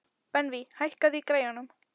Benvý, hækkaðu í græjunum.